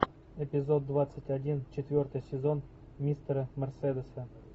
эпизод двадцать один четвертый сезон мистера мерседеса